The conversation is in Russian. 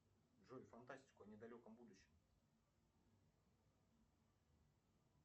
джой фантастику о недалеком будущем